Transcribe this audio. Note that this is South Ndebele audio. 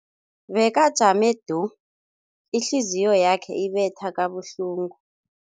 Bekajame du, ihliziyo yakhe ibetha kabuhlungu.